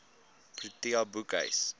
protea boekhuis